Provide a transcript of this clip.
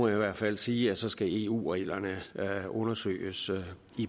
i hvert fald sige at så skal eu reglerne undersøges til